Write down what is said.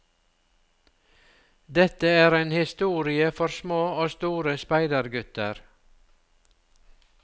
Dette er en historie for små og store speidergutter.